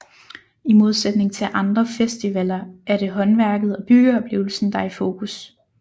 I modsætning til andre festivaler er det håndværket og byggeoplevelsen der er i fokus